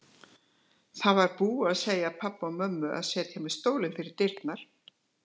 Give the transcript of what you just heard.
Það var búið að segja pabba og mömmu að setja mér stólinn fyrir dyrnar.